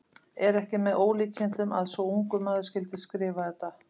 Er ekki með ólíkindum að svo ungur maður skyldi skrifa þetta?